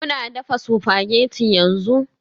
Kuna dafa spaghetti yanzu?